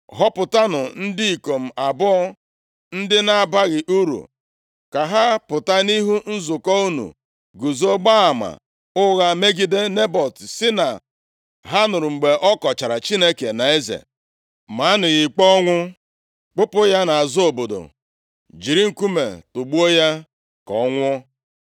Họpụtanụ ndị ikom abụọ, ndị na-abaghị uru ka ha pụta nʼihu nzukọ unu guzo gbaa ama ụgha megide Nebọt sị na ha nụrụ mgbe ọ kọchara Chineke na eze. + 21:10 Ị kọchaa Chineke na eze \+xt Ọpụ 22:28; Lev 24:15-16; Ọrụ 6:11\+xt* Maanụ ya ikpe ọnwụ, kpụpụ ya nʼazụ obodo, jiri nkume tugbuo ya, ka ọ nwụọ.”